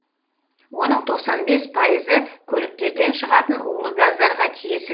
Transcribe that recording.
оның тоқсан бес пайызы көліктерден шығатын улы газдарға тиесіл